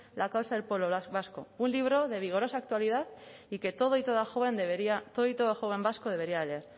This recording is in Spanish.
la causa del pueblo vasco un libro de vigorosa actualidad y que todo y toda joven vasco debería leer